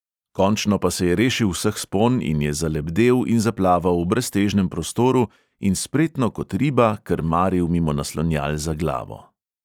Končno pa se je rešil vseh spon in je zalebdel in zaplaval v breztežnem prostoru in spretno kot riba krmaril mimo naslonjal za glavo.